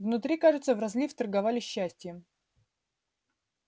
внутри кажется в розлив торговали счастьем